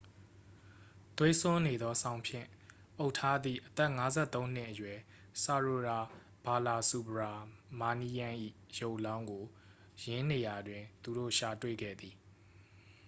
သွေးစွန်းနေသော စောင်ဖြင့် အုပ်ထားသည့် အသက် 53 နှစ်အရွယ် ဆာရိုယာ ဘာလာစူဘရာမာနီးယန်း ၏ ရုပ်အလောင်းကို ယင်းနေရာတွင် သူတို့ ရှာတွေ့ခဲ့သည်